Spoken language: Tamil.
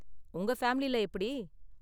உங்க ஃபேமிலில எப்படி?